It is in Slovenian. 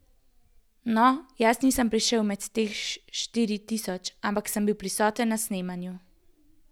No, jaz nisem prišel med teh štiri tisoč, ampak sem bil prisoten na snemanju.